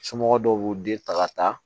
Somɔgɔw dɔw b'u den ta ka taa